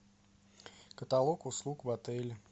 каталог услуг в отеле